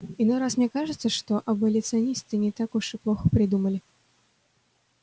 иной раз мне кажется что аболиционисты не так уж и плохо придумали